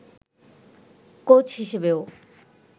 coach হিসেবেও